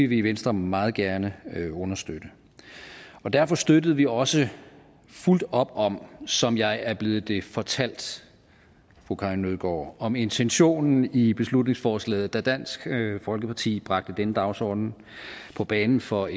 vi i venstre meget gerne understøtte derfor støttede vi også fuldt op om som jeg er blevet det fortalt fru karin nødgaard om intentionen i beslutningsforslaget da dansk folkeparti bragte denne dagsorden på banen for